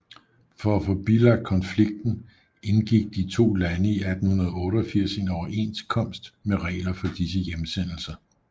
For at få bilagt konflikten indgik de to lande i 1888 en overenskomst med regler for disse hjemsendelser